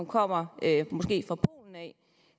kommer fra polen